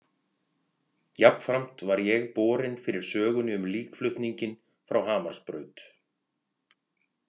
Jafnframt var ég borinn fyrir sögunni um líkflutninginn frá Hamarsbraut.